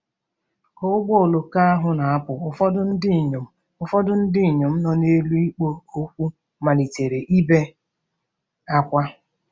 Ka ụgbọ oloko ahụ na-apụ, ụfọdụ ndị inyom ụfọdụ ndị inyom nọ n'elu ikpo okwu malitere ibe ákwá.